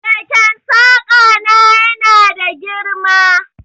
Keken saƙa na yana da girma.